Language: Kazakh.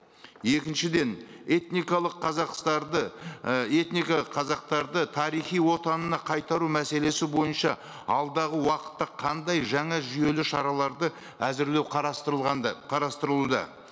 екіншіден этникалық ы этника қазақтарды тарихи отанына қайтару мәселесі бойынша алдағы уақытта қандай жаңа жүйелі шараларды әзірлеу қарастырылған ды қарастырылуда